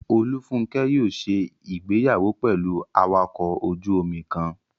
Olúfúnkẹ́ yóò ṣe ìgbéyàwó pẹ̀lú awakọ̀ ojú-omi kan